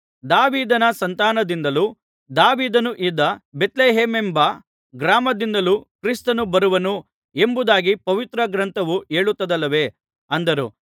ದಾವೀದನ ಸಂತಾನದಿಂದಲೂ ದಾವೀದನು ಇದ್ದ ಬೇತ್ಲೆಹೇಮೆಂಬ ಗ್ರಾಮದಿಂದಲೂ ಕ್ರಿಸ್ತನು ಬರುವನು ಎಂಬುದಾಗಿ ಪವಿತ್ರ ಗ್ರಂಥವು ಹೇಳುತ್ತದಲ್ಲವೇ ಅಂದರು